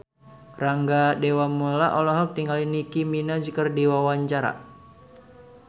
Rangga Dewamoela olohok ningali Nicky Minaj keur diwawancara